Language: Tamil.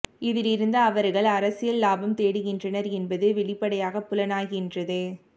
இதிலிருந்து அவர்கள் அரசியல் இலாபம் தேடுகின்றனர் என்பது வெளிப்படையாகப் புலனாகின்றது